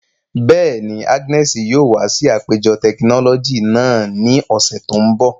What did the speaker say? Bẹ́ẹ̀ni, Agnes yóò wa si apejọ tekinọlọji naa ni ọsẹ to nbọ.